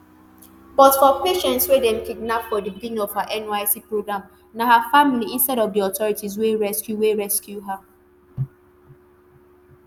but for patience wey dem kidnap for di beginning of her nysc programme na her family instead of di authorities wey rescue wey rescue her